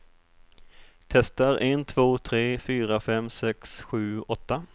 Testar en två tre fyra fem sex sju åtta.